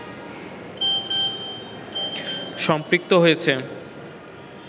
সম্পৃক্ত হয়েছে